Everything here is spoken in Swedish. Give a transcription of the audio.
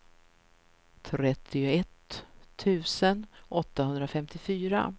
trettioett tusen åttahundrafemtiofyra